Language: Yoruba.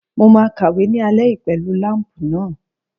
Mo máa kàwé ní alẹ́ yìí pẹ̀lú láǹpù náà.